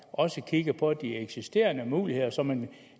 også kigger på de eksisterende muligheder så man